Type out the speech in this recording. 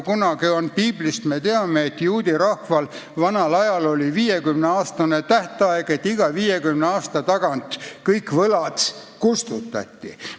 Piiblist me teame, et juudi rahval kehtis vanal ajal 50 aasta pikkune tähtaeg: iga 50 aasta tagant kõik võlad kustutati.